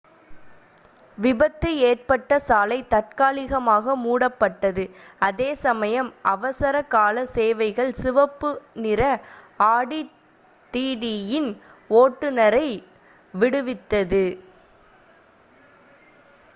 விபத்து ஏற்பட்ட சாலை தற்காலிகமாக மூடப்பட்டது அதே சமயம் அவசர கால சேவைகள் சிவப்பு நிற ஆடி டிடியின் ஓட்டுனரை விடுவித்தது